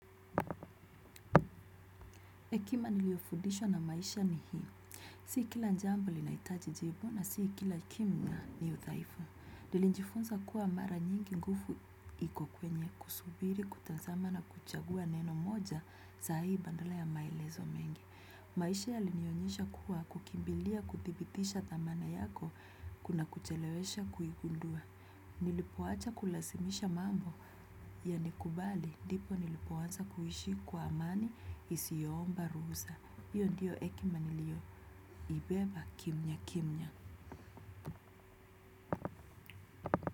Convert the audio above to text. Hekima niliyofudishwa na maisha ni hii. Si kila jambo linaitaji jibu na si kila kimya ni uthaifu. Nilijifunza kuwa mara nyingi nguvu iko kwenye kusubiri, kutazama na kuchagua neno moja saa hii badala ya maelezo mengi. Maisha yalinionyesha kuwa kukimbilia kuthibitisha dhamana yako kuna kuchelewesha kuigundua. Nilipowacha kulazimisha mambo yalikubali, ndipo nilipoanza kuishi kwa amani isiomba ruhusa. Hiyo ndiyo hekima niliyo ibeba kimyakimya.